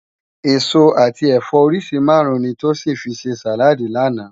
Esó ati ẹfọ óriṣi márùn ni Tosin fi sé sáládì làná